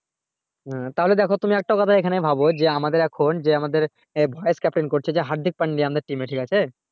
হ্যা তাহলে দেখো তুমি একটা কথা এখানেই ভাবো যে আমাদের এখন যে আমাদের voice caption করছে হার্দিক পাণ্ডে আমাদের team এ ঠিক আছে